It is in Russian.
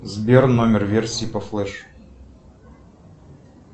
сбер номер версии по флэш